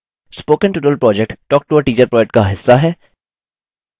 spoken tutorial project talktoateacher project का हिस्सा है